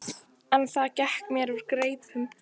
En það gekk mér úr greipum.